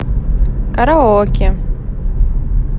караоке